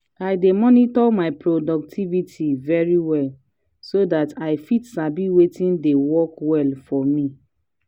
i dey monitor my productivity very well so dat i fit sabi wetin dey work well for me.